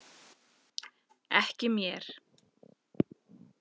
Ekki mér.